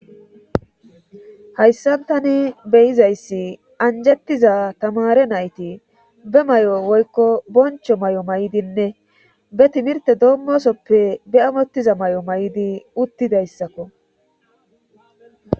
hayssan tani beyizayssi anjettiza tamare nayti be mayo woykko boncho mayo mayidinne be timirte doommosoppe be amottiza mayo mayidi uttidayssakko